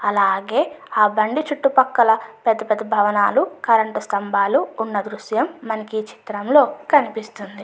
అలాగే ఆ బండిచుట్టూ పక్కల పెద్ద పెద్ద భవనాలు కరెంట్ స్తంబాలు ఉన్న దృశ్యం మనకి ఏ చిత్రంలో కనిపిస్తుంది.